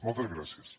moltes gràcies